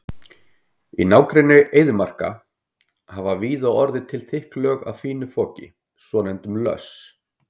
Í nágrenni eyðimarka hafa víða orðið til þykk lög af fínu foki, svonefndum löss.